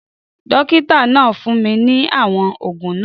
Dókítà náà fún mi ní àwọn ògùn náà